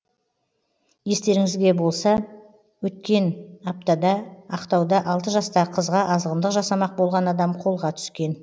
естеріңізге болса өткен аптада ақтауда алты жастағы қызға азғындық жасамақ болған адам қолға түскен